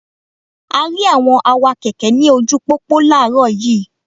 A rí àwọn awakẹ̀kẹ́ ní ojúu pópó láàárọ̀ yiiiw.